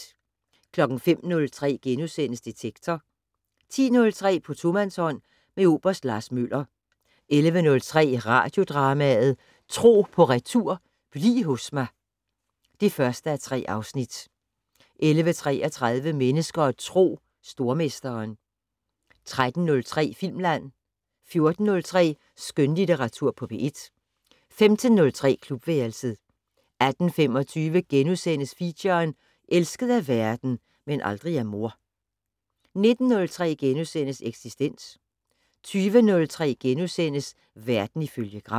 05:03: Detektor * 10:03: På tomandshånd med oberst Lars Møller 11:03: Radiodrama: Tro på retur: Bliv hos mig (1:3) 11:33: Mennesker og Tro: Stormesteren 13:03: Filmland 14:03: Skønlitteratur på P1 15:03: Klubværelset 18:25: Feature: Elsket af verden - men aldrig af mor * 19:03: Eksistens * 20:03: Verden ifølge Gram *